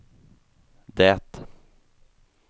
det